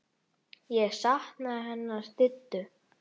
Ég sakna hennar Diddu.